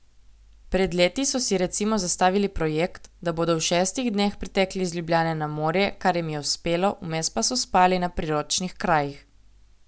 Pred leti so si recimo zastavili projekt, da bodo v šestih dneh pritekli iz Ljubljane na morje, kar jim je uspelo, vmes pa so spali na priročnih krajih.